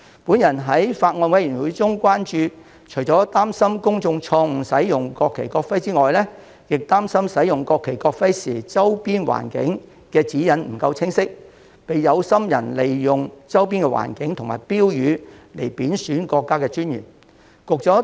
我曾在法案委員會會議上提出關注，表示除擔心公眾錯誤使用國旗、國徽之外，亦擔心使用國旗、國徽時的周邊環境指引不夠清晰，被有心人利用周邊環境和其他標語貶損國家尊嚴。